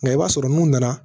Nka i b'a sɔrɔ n'u nana